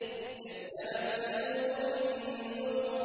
كَذَّبَتْ ثَمُودُ بِالنُّذُرِ